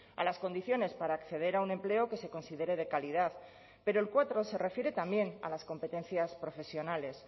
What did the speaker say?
a las condiciones para acceder a un empleo que se considere de calidad pero el cuatro se refiere también a las competencias profesionales